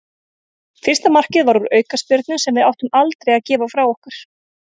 Fyrsta markið var úr aukaspyrnu sem við áttum aldrei að gefa frá okkur.